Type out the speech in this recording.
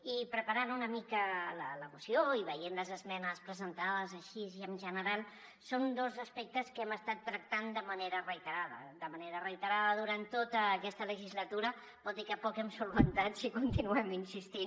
i preparant una mica la moció i veient les esmenes presentades així i en general són dos aspectes que hem estat tractant de manera reiterada de manera reiterada durant tota aquesta legislatura vol dir que poc hem solucionat si hi continuem insistint